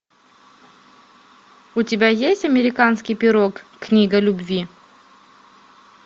у тебя есть американский пирог книга любви